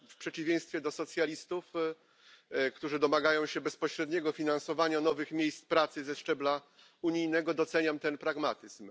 W przeciwieństwie do socjalistów, którzy domagają się bezpośredniego finansowania nowych miejsc pracy ze szczebla unijnego, doceniam ten pragmatyzm.